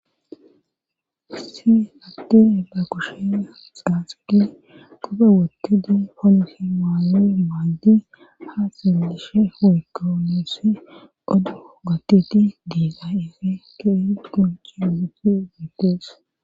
Hayssi hatti ela kushea xaaxuegi qube wottedi ponohi maayo maajji ha xellishe huykoneos odo gottiti deega efe kee qonci gucti gootees.